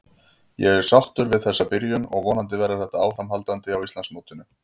Ég er sáttur við þessa byrjun og vonandi verður þetta áframhaldandi á Íslandsmótinu.